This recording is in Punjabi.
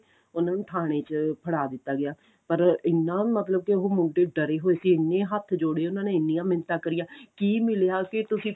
ਉਹਨਾ ਨੂੰ ਥਾਣੇ ਚ ਫੜਾ ਦਿੱਤਾ ਗਿਆ ਪਰ ਇੰਨਾ ਮਤਲਬ ਕਿ ਉਹ ਮੁੰਡੇ ਡਰੇ ਹੋਏ ਸੀ ਇੰਨੇ ਹੱਥ ਜੋੜੇ ਉਹਨਾ ਨੇ ਇੰਨੀਆਂ ਮਿੰਨਤਾਂ ਕਰੀਆਂ ਕੀ ਮਿਲਿਆ ਕਿ ਤੁਸੀਂ